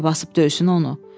Bəlkə basıb döysün onu.